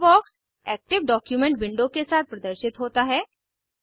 toolbox active document window के साथ प्रदर्शित होता है